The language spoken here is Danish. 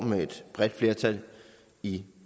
med et bredt flertal i